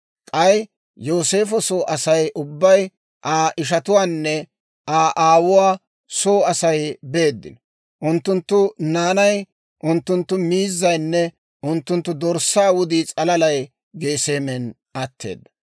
K'ay Yooseefo soo Asay ubbay, Aa ishatuwaanne Aa aawuwaa soo Asay beeddino; unttunttu naanay, unttunttu miizzaynne unttunttu dorssaa wudii s'alalay Geseemen atteedda.